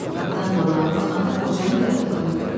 Qapıdan boylanıb baxanda qocanın yatdığını gördü.